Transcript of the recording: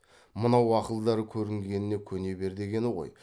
мынау ақылдары көргеніне көне бер деген ғой